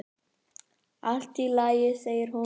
"""Allt í lagi, segir hún."""